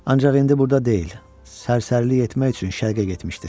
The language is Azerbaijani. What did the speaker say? Ancaq indi burda deyil, sərsərilik etmək üçün şərqə getmişdir.